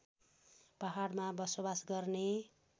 पहाडमा बसोबास गर्ने